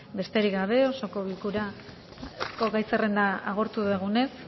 besterik gabe osoko bilkurako gai zerrenda agortu dugunez